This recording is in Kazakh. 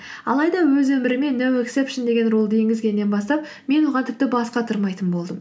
алайда өз өміріме ноу ексепшен деген рулды енгізгеннен бастап мен оған тіпті бас қатырмайтын болдым